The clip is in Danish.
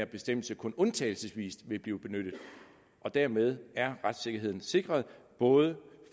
bestemmelse kun undtagelsesvis vil blive benyttet dermed er retssikkerheden sikret både